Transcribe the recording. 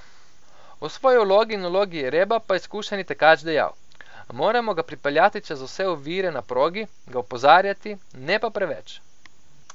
O svoji vlogi in vlogi Jereba pa je izkušeni tekač dejal: 'Moramo ga pripeljati čez vse ovire na progi, ga opozarjati, ne pa preveč.